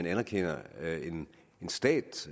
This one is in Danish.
anerkender en stat